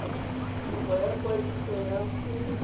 kopo ya kwadiso ya go